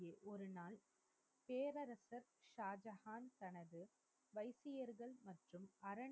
ஒரு நாள் பேரரசர் ஷாஜகான் தனது வைத்தியர்கள் மற்றும் அரண்,